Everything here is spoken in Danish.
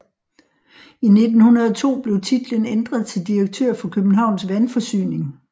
I 1902 blev titlen ændret til direktør for Københavns Vandforsyning